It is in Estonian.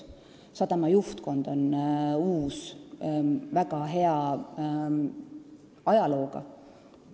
Sadama juhtkond on uus ja väga hea taustaga.